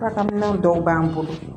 Baarakɛminɛnw dɔw b'an bolo